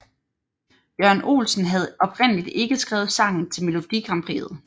Jørgen Olsen havde oprindeligt ikke skrevet sangen til Melodi Grand Prixet